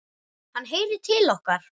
Hann heyrir til okkar.